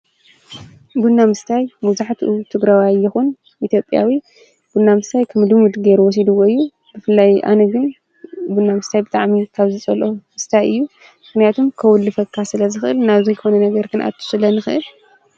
ቡና ምስታይ መብዛሑትኡ ትግራዋይ ይኩን ኢትዮጵያዊ ቡና ምስታይ ከም ልሙድ ገይሩ ወሲድዎ እዩ። ብፍላይ ኣነ ግን ቡና ምስታይ ብጣዕሚ ካብ ዝጸልኦም ክስታይ እዩ። ምክንያቱም ከዉልፈካ ስለ ዝክእል ናብ ዘይኮነ ነገር ክንኣቱ ስለንክእል።